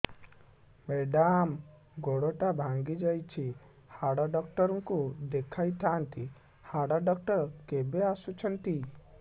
madam ଗୋଡ ଟା ଭାଙ୍ଗି ଯାଇଛି ହାଡ ଡକ୍ଟର ଙ୍କୁ ଦେଖାଇ ଥାଆନ୍ତି ହାଡ ଡକ୍ଟର କେବେ ଆସୁଛନ୍ତି